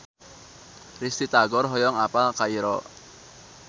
Risty Tagor hoyong apal Kairo